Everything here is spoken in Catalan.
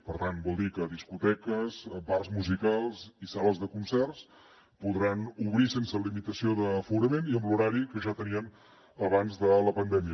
per tant vol dir que discoteques bars musicals i sales de concerts podran obrir sense limitació d’aforament i amb l’horari que ja tenien abans de la pandèmia